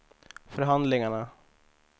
förhandlingarna